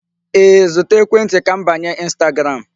Ee, zụta ekwentị ka m banye Instagram.